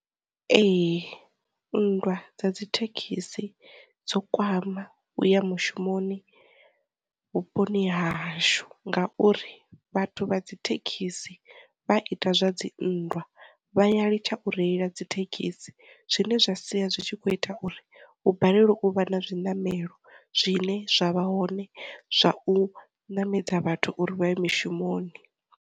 Ee, nndwa dza dzithekhisi dzo kwama u ya mushumoni vhuponi hashu ngauri vhathu vha dzi thekhisi vha ita zwa dzi nndwa vha ya litsha u reila dzi thekhisi, zwine zwa sia zwi tshi kho ita uri hu balelwa u vha na zwi ṋamelo zwine zwavha hone zwa u ṋamedza vhathu uri vha ye mishumoni.